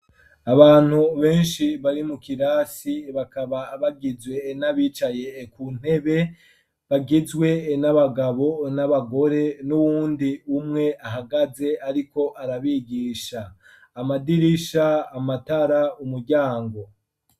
Abantu benshi bari mu kirasi bakaba bagizwe n'abicaye ku ntebe bagizwe n'abagabo n'abagore n'uwundi umwe ahagaze ariko arabigisha, amadirisha amatara umuryango.